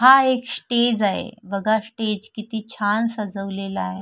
हा एक स्टेज आहे बघा स्टेज किती छान सजवलेला आहे.